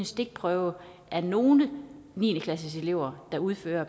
stikprøver af nogle af niende klasseeleverne der udføres